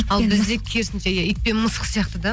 ал бізде керісінше иә ит пен мысық сияқты да